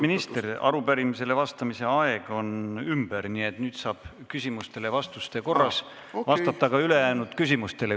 Lugupeetud minister, arupärimisele vastamise aeg on ümber, nii et nüüd saab lisaküsimustele vastamise korras vastata ka ülejäänud küsimustele.